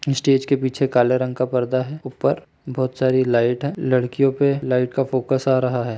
Stage के पीछे काले रंग का पर्दा है ऊपर बहुत सारी लाइट है लड़कियो पे लाइट का फोकस आ रहा हैं।